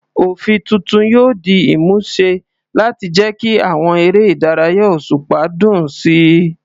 Òfin tuntun yóò di ìmúṣẹ láti jẹ́ kí àwọn eré ìdárayá òṣùpá dùn sí i.